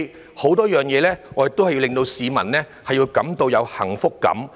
在很多事情上，我們都要令市民有幸福感。